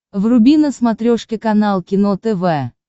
вруби на смотрешке канал кино тв